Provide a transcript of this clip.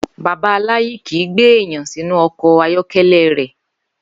Bàbá Láyí kìí gbé èèyàn sínú o̩kò̩ ayó̩ké̩lé̩ rè̩